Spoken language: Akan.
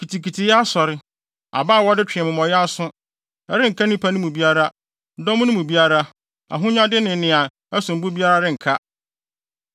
Kitikitiyɛ asɔre, abaa a wɔde twe amumɔyɛ aso. Ɛrenka nnipa no mu biara, dɔm no mu biara, ahonyade ne nea ɛsom bo biara renka.